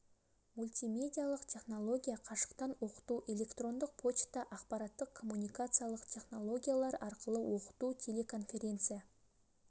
мультимедиялық технология қашықтан оқыту электрондық почта ақпараттық-коммуникациялық технологиялар арқылы оқыту телеконференция